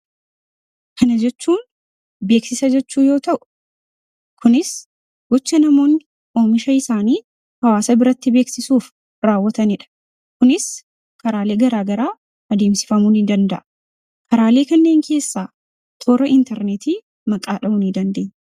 kana jechuun beeksisa jechuu yoo ta'u kunis gocha namoonni oomisha isaanii hawaasa biratti beeksisuuf raawwatanii dha. kunis karaalee garaa garaa adiimsifamuu ni danda'a. Karaalee kanneen keessaa toora interneetii maqaa dha'uun ni dandeenya.